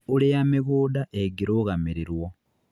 Ũrĩa mĩgũnda ĩngĩrũgamĩrĩrwo